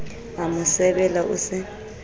a mo sebela o se